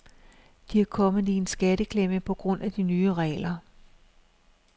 De er kommet i en skatteklemme på grund af de nye regler.